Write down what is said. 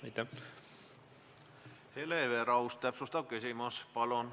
Hele Everaus, täpsustav küsimus, palun!